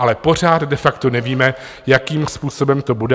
Ale pořád de facto nevíme, jakým způsobem to bude.